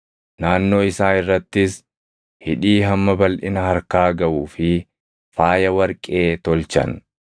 Naannoo isaa irrattis hidhii hamma balʼina harkaa gaʼuu fi faaya warqee tolchan.